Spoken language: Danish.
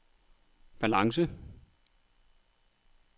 balance